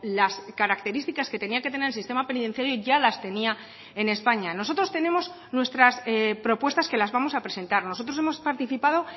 las características que tenía que tener el sistema penitenciario ya las tenía en españa nosotros tenemos nuestras propuestas que las vamos a presentar nosotros hemos participado